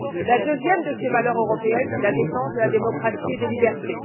La deuxième de ces valeurs européennes est la défense de la démocratie et des libertés.